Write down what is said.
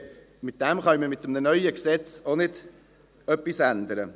Daran können wir mit einem neuen Gesetz auch nichts ändern.